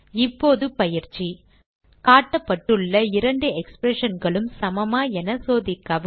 இப்போது பயிற்சி காட்டப்பட்டுள்ள இரண்டு expressionகளும் சமமா என சோதிக்கவும்